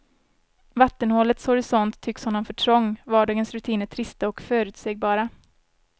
Vattenhålets horisont tycks honom för trång, vardagens rutiner trista och förutsägbara.